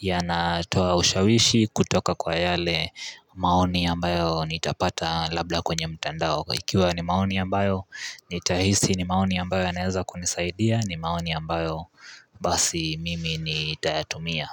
Yanatoa ushawishi kutoka kwa yale maoni ambayo nitapata labda kwenye mtandao Ikiwa ni maoni ambayo nitahisi ni maoni ambayo yanaeza kunisaidia ni maoni ambayo Basi mimi ni tayatumia.